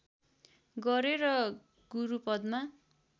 गरे र गुरु पदमा